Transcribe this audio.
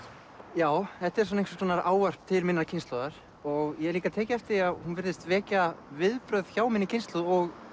já þetta er einhvers konar ávarp til minnar kynslóðar og ég hef líka tekið eftir því að hún virðist vekja viðbrögð hjá minni kynslóð